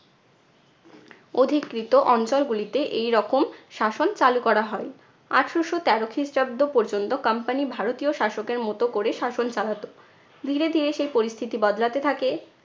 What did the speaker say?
অধিকৃত অঞ্চল গুলিতে এইরকম শাসন চালু করা হয়। আঠারশো তেরো খ্রিস্টাব্দ পর্যন্ত company ভারতীয় শাসকের মতো করে শাসন চালাতো। ধীরে ধীরে সেই পরিস্থিতি বদলাতে থাকে।